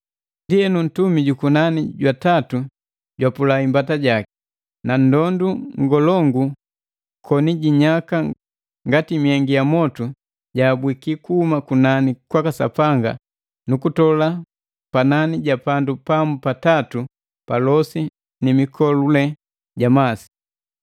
Ndienu, ntumi jukunani jwa tatu jwapula imbata jaki. Na ndondu ngolongu koni jinyaka ngati myengi ya mwotu jaabwiki kuhuma kunani kwaka Sapanga nukutola panani ja pandu pamu pa tatu pa losi ni mikolule ja masi.